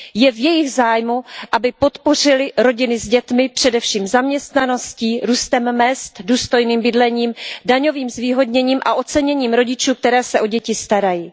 Je v jejich zájmu, aby podpořily rodiny s dětmi, především zaměstnaností, růstem mezd, důstojným bydlením, daňovým zvýhodněním a oceněním rodičů, kteří se o děti starají.